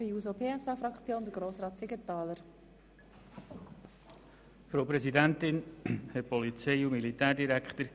Wenn ich einmal ein Taxi brauche, rufe ich René an, nicht Uber.